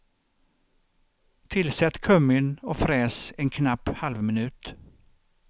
Tillsätt kummin och fräs en knapp halvminut.